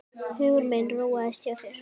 Hugur minn róaðist hjá þér.